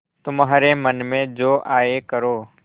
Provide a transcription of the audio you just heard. तुम्हारे मन में जो आये करो